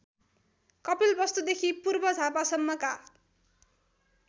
कपिलवस्तुदेखि पूर्व झापासम्मका